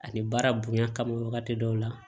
Ani baara bonyan ka wagati dɔw la